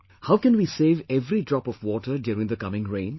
How can we save every drop of water during the coming rains